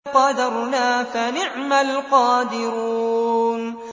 فَقَدَرْنَا فَنِعْمَ الْقَادِرُونَ